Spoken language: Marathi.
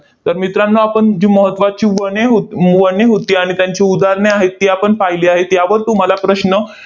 तर मित्रांनो, आपण जी महत्त्वाची वने हो म वने होती, आणि त्यांची उदाहरणे आहेत, ती आपण पाहिली आहेत. यावर तुम्हाला प्रश्न